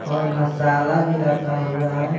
और मसाला भी रखा हुआ है।